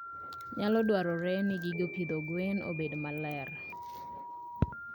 Nyalo dwarore ni gige pidho gwen obed maler.